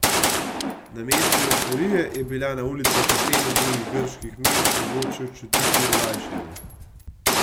Namesto evforije je bilo na ulicah Aten in drugih grških mest mogoče čutiti olajšanje.